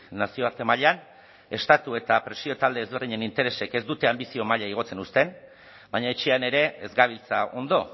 nazioarte mailan estatu eta presio talde ezberdinen interesek ez dute anbizio maila igotzen uzten baina etxean ere ez gabiltza ondo